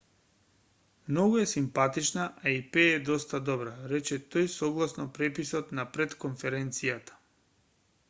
многу е симпатична а и пее доста добро рече тој согласно преписот на пред-конференцијата